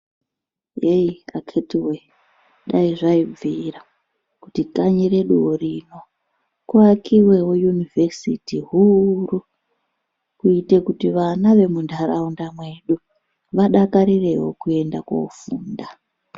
Heyi akhitiwee, dai zvaibvira, kuti kanyi reduwo rino, kuvakiwewo yunivhesiti huuru, kuite kuti vana vemuntaraunda mwedu, vadakarirewo kuenda koofunda.